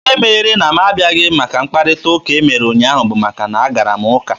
Ihe mere na mụ abịaghị maka mkparịta ụka e mere ụnyaahụ bụ maka na a gara m ụka.